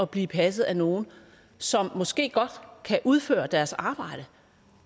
bliver passet af nogle som måske godt kan udføre deres arbejde